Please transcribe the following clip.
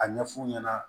A ɲɛ f'u ɲɛna